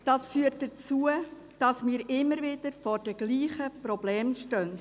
Das führt dazu, dass wir immer wieder vor denselben Problemen stehen.